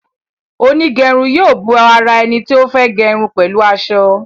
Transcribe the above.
Onigerun yóò bó àrà eni tí o fè gerun pẹlu asọ.